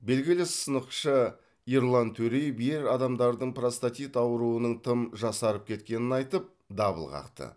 белгілі сынықшы ерлан төреев ер адамдардың простатит ауруының тым жасарып кеткенін айтып дабыл қақты